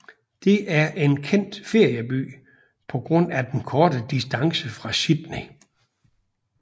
Det er en kendt ferieby på grund af den korte distance fra Sydney